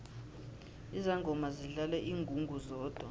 izangoma zidlala ingungu zodwa